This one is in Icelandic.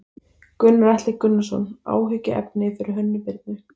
Gunnar Atli Gunnarsson: Áhyggjuefni fyrir Hönnu Birnu?